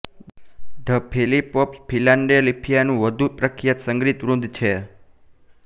the Philly Pops ફિલાડેલ્ફિયાનું વધુ એક પ્રખ્યાત સંગીતવૃંદ છે